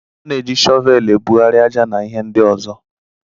A na-eji shọvel ebugharị aja na ihe ndị ọzọ.